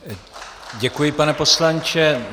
Děkuji, pane poslanče.